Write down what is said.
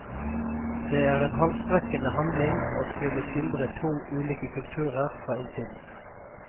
Det er en halsbrekkende handling å skulle skildre to ulike kulturer fra innsiden.